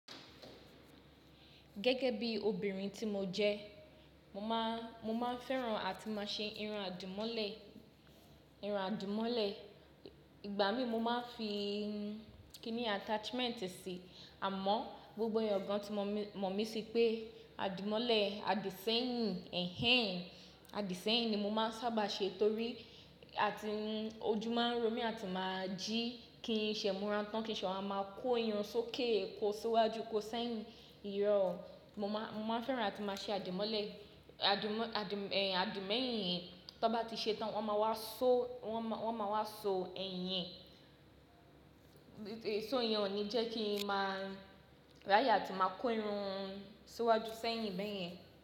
Gẹ́gẹ́ bí obìnrin tí mo jẹ, mo máa, mo máa n fẹ́ràn àti máa ṣe irun àdìmọ́lẹ̀, irun àdìmọ́lẹ̀. Ìgbà mí mo máa ń fi kíní attachment sí, àmọ́ gbogbo ẹ̀yàn gan tí mọ̀ mí, mọ̀ mí sí pé àdìmọ́lẹ̀, àdì sẹ́yìn, ẹ̀hen, àdì sẹ́yìn ni mo máa ń sábà ṣe torí, àti ojú máa ń ro mí àti máa jí kí n ṣe múran tán, kí ṣe wa máa kó irun sókè, kó síwájú, kó sẹ́yìn. Irọ̀, mo máa, mo máa fẹ́ràn àti máa ṣe àdìmọ́lẹ̀, àdìmọ́, àdì, ẹhin, àdì mẹ́yìn yẹn. Tọ́n bá ti ṣe tán wọ́n máa wá ṣọ, wọ́n máa wá ṣọ ẹyin. So iyẹn ò ní jẹ́ kí i máa, ráye àti máa kó irun síwájú sẹ́yìn bẹ́yẹn.